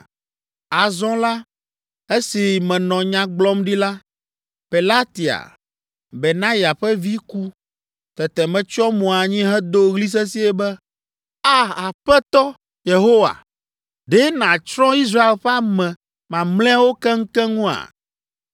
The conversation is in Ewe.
Azɔ la, esi menɔ nya gblɔm ɖi la, Pelatia, Benaya ƒe vi ku. Tete metsyɔ mo anyi hedo ɣli sesĩe be, “A! Aƒetɔ Yehowa! Ɖe nàtsrɔ̃ Israel ƒe ame mamlɛawo keŋkeŋua?”